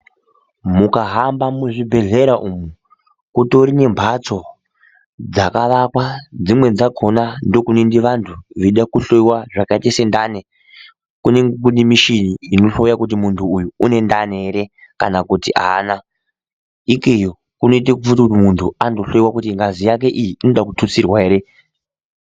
Mukahamba muzvibhedhlera umu kutori nembatso dzakavakwa, dzimwe dzakona ndokunoende vantu veida kuhloyiwa zvakaite sendani. Kunenge kune mishini inohloya kuti muntu uyu une ndani here kana kuti haana. Ikeyo kunoite kuti muntu andohloyiwa kuti ngazi yake iyi inoda kututsirwa here.